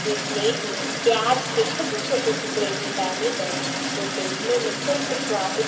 के प्लेट मे प्याज़ के छोटे-छोटे टुकड़े भी डाले गये है जो देखने मे अत्यंत स्वादिष्ट --